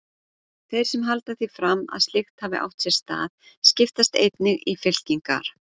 Þeir sem halda því fram að slíkt hafi átt sér stað, skiptast einnig í fylkingar.